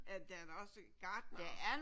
Ja der er da også gartnere